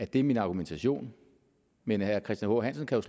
det er min argumentation men herre christian h hansen kan